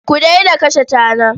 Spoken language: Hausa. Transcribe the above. Ku daina kashe tana.